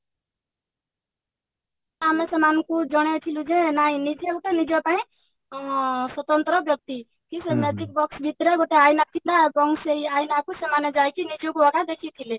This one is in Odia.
ଆମେ ସେମାନଙ୍କୁ ଜଣେଇଥିଲୁ ଯେ ନାଇଁ ନିଜେ ଗୋଟେ ନିଜପାଇଁ ଅ ସ୍ଵତନ୍ତ୍ର ବ୍ୟକ୍ତି କି ସେ magic box ଭିତରେ ଗୋଟେ ଆଇନା ଥିଲା ଏବଂ ସେଇ ଆଇନା କୁ ସେମାନେ ଯାଇକି ନିଜକୁ ଆକା ଦେଖିଥିଲେ